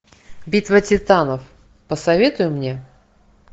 битва титанов посоветуй мне